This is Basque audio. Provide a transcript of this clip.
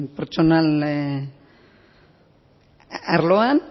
pertsonal arloan